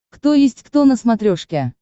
кто есть кто на смотрешке